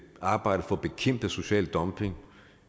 arbejde for at bekæmpe social dumping